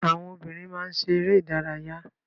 Àwọn obìnrin má ń ṣe eré ìdárayá.